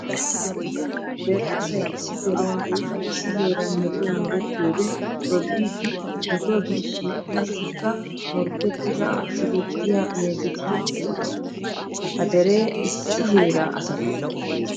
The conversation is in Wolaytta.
Dere asay issi deriyan woykko issi heeran metoy merettiyodde tobbiddi metuwa birshshiya qassikka morkkettidda siggettiya meezettido eqotta. Ha deree issi heera asatta.